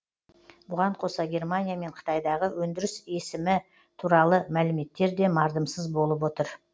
бұған қоса германия мен қытайдағы өндіріс өсімі туралы мәліметтер де мардымсыз болып отыр